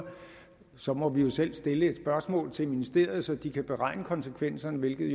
som må vi selv stille et spørgsmål til ministeriet så de kan beregne konsekvenserne hvilket